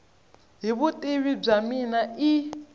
hi vutivi bya mina i